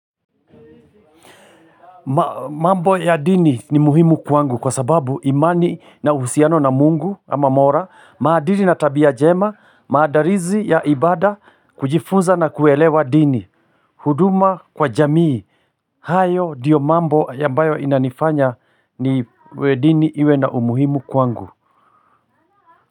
Mambo ya dini ni muhimu kwangu, kwa sababu imani na uhusiano na Mungu ama Mola. Maadili na tabia njema, maandalizi ya ibada, kujifunza na kuelewa dini. Huduma kwa jamii. Hayo ndiyo mambo ambayo inanifanya niwe dini iwe na umuhimu kwangu.